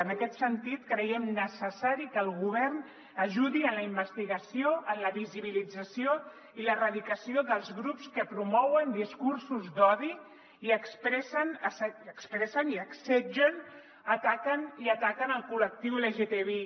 en aquest sentit creiem necessari que el govern ajudi en la investigació en la visibilització i l’erradicació dels grups que promouen discursos d’odi i expressen assetgen i ataquen el col·lectiu lgtbi